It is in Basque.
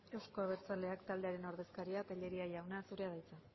euzko abertzaleak taldearen ordezkaria tellería jauna zurea da hitza